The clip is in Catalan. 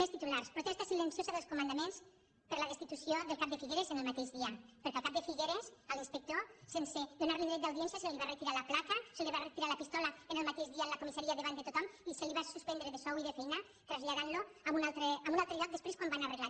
més titulars protesta silenciosa dels comandaments per la destitució del cap de figueres el mateix dia perquè al cap de figueres l’inspector sense donar·li dret d’audiència se li va re·tirar la placa se li va retirar la pistola el mateix dia a la comissaria davant de tothom i se’l va suspendre de sou i de feina i el van traslladar a un altre lloc després quan ho van arreglar